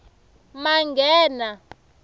manghena